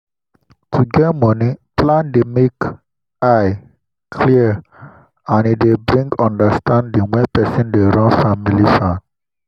to get moni plan dey make eye clwar and e dey bring e dey bring understanding when person dey run family farm.